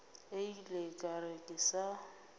ile ka re ke sa